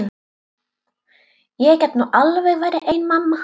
Ég get nú alveg verið ein mamma.